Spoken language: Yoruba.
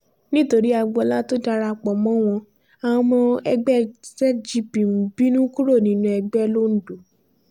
nítorí agboola tó dara pọ̀ mọ́ wọn àwọn ọmọ ẹgbẹ́ zgp ń bínú kúrò nínú ẹgbẹ́ londo